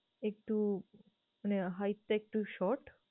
একটু মানে hight টা একটু short